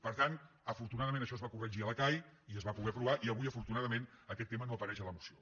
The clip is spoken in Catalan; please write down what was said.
per tant afortunadament això es va corregir a la cai i es va poder aprovar i avui afortunadament aquest tema no apareix a la moció